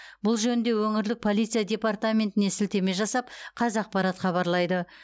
бұл жөнінде өңірлік полиция департаментіне сілтеме жасап қазақпарат хабарлайды